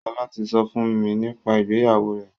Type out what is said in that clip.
Ṣọlá ti sọ fún mi nípa ìgbéyàwó rẹ̀.